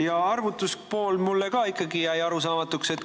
Ja arvutuspool jäi mulle ka arusaamatuks.